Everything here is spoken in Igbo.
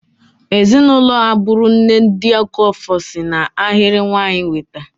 Ezinụlọ agburu nne, ndị Okafor, si n'ahịrị nwanyị nweta.